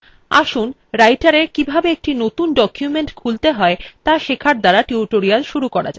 আসুন writera কিভাবে একটি নতুন document খুলতে হয় ত়া শেখার দ্বারা tutorial শুরু করা যাক